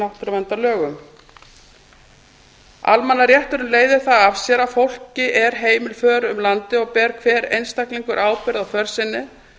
náttúruverndarlögum eitt almannarétturinn leiðir það af sér að fólki er heimil för um landið og ber hver einstaklingur ábyrgð á för sinni